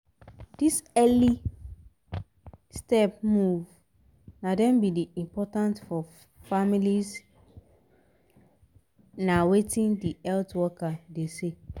this early step move na em be the important for families a wetin the health workers de say